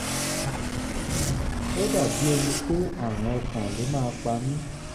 ó dàbí ẹni pé àrùn ọkàn ló máa pa mí